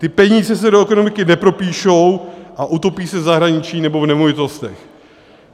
Ty peníze se do ekonomiky nepropíšou a utopí se v zahraničí nebo v nemovitostech."